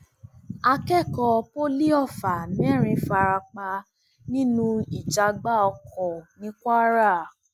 akẹkọọ poli ọfà mẹrin fara pa nínú ìjàgbá ọkọ ní kwara